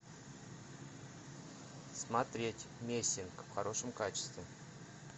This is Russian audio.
смотреть мессинг в хорошем качестве